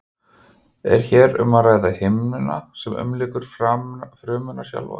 er hér um að ræða himnuna sem umlykur frumuna sjálfa